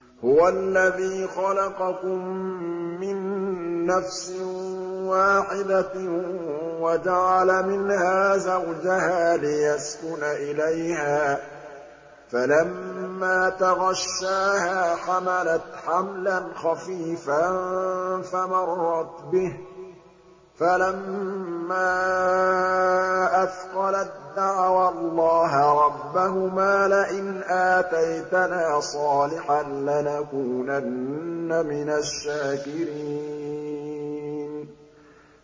۞ هُوَ الَّذِي خَلَقَكُم مِّن نَّفْسٍ وَاحِدَةٍ وَجَعَلَ مِنْهَا زَوْجَهَا لِيَسْكُنَ إِلَيْهَا ۖ فَلَمَّا تَغَشَّاهَا حَمَلَتْ حَمْلًا خَفِيفًا فَمَرَّتْ بِهِ ۖ فَلَمَّا أَثْقَلَت دَّعَوَا اللَّهَ رَبَّهُمَا لَئِنْ آتَيْتَنَا صَالِحًا لَّنَكُونَنَّ مِنَ الشَّاكِرِينَ